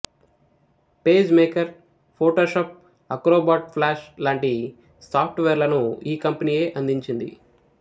page maker Photoshop Acrobat Flash లాంటి సాఫ్ట్ వేర్లను ఈ కంపెనీయే అందించింది